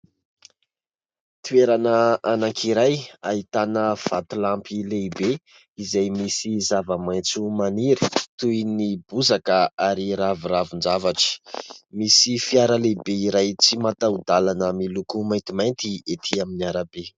Toerana anankiray ahitana vatolampy lehibe, izay misy zava-maintso maniry toy ny bozaka ary raviravin-javatra, misy fiara lehibe iray tsy mataho-dalana miloko maintimainty ety amin'ny arabe.